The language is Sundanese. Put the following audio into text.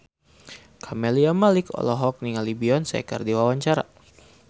Camelia Malik olohok ningali Beyonce keur diwawancara